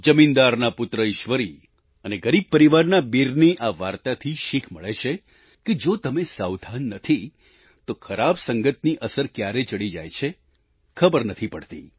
જમીનદારના પુત્ર ઈશ્વરી અને ગરીબ પરિવારના વીરની આ વાર્તાથી શીખ મળે છે કે જો તમે સાવધાન નથી તો ખરાબ સંગતની અસર ક્યારે ચડી જાય છે ખબર નથી પડતી